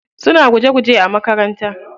Suna guje guje a makaranta.